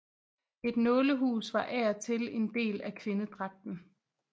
Et nålehus var af og til en del af kvindedragten